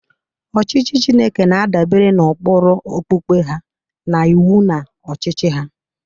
Ọchịchị Chineke na-adabere n'ụkpụrụ okpukpe ha na iwu na ọchịchị ha.